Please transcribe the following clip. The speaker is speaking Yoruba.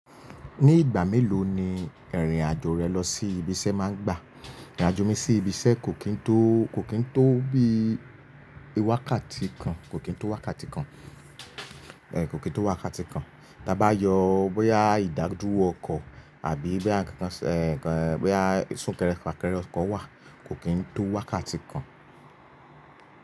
Ní ìgbà mélòó ni ìrìn-àjò rẹ lọ sí ibiṣẹ́ máa ń gbà? Ìrìn-àjò mi sí ibiṣẹ́ kò kín tó, kò kín tó bí i wákàtí kan, kò kín tó wákàtí kan. Ẹ̀ kò kín tó wákàtí kan. Ti a ba yọ bóyá ìdádúrò ọkọ̀ àbí bóyá kan kan ẹ̀ bóyá sún-kẹrẹ-fà-kẹrẹ ọkọ̀ wà, kò kí ń tó wákàtí kan.